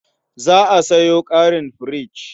Za a sayo ƙarin firich.